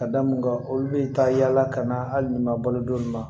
Ka da mun kan olu bɛ taa yala ka na hali ni ma balo don ma